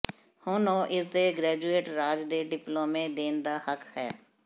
ਹੁਣ ਉਹ ਇਸ ਦੇ ਗ੍ਰੈਜੂਏਟ ਰਾਜ ਦੇ ਡਿਪਲੋਮੇ ਦੇਣ ਦਾ ਹੱਕ ਹੈ